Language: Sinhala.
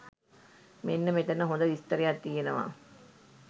මෙන්න මෙතන හොද විස්තරයක් තියෙනවා.